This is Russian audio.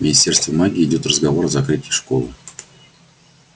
в министерстве магии идёт разговор о закрытии школы